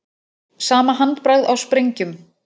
Sama handbragð á sprengjum